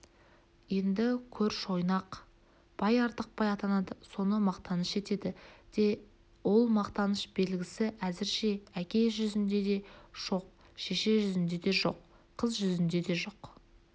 енді көр шойнақ бай артықбай атанады соны мақтаныш етеді де ол мақтаныш белгісі әзірше әке жүзінде де жоқ шеше жүзінде де жоқ қыз жүзінде де жоқ